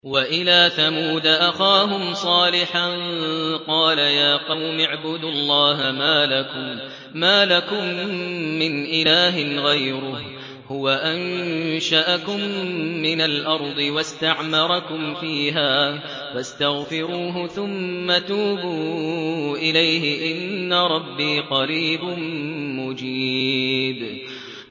۞ وَإِلَىٰ ثَمُودَ أَخَاهُمْ صَالِحًا ۚ قَالَ يَا قَوْمِ اعْبُدُوا اللَّهَ مَا لَكُم مِّنْ إِلَٰهٍ غَيْرُهُ ۖ هُوَ أَنشَأَكُم مِّنَ الْأَرْضِ وَاسْتَعْمَرَكُمْ فِيهَا فَاسْتَغْفِرُوهُ ثُمَّ تُوبُوا إِلَيْهِ ۚ إِنَّ رَبِّي قَرِيبٌ مُّجِيبٌ